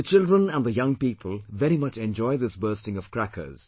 The children and the young people very much enjoy this bursting of crackers